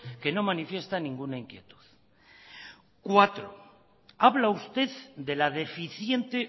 que no manifiesta ninguna inquietud cuatro habla usted de la deficiente